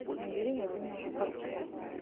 набери владимира бортко